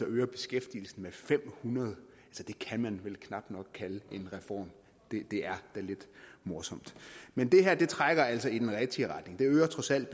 øger beskæftigelsen med fem hundrede det kan man vel knap nok kalde en reform det er da lidt morsomt men det her trækker altså i den rigtige retning det vil trods alt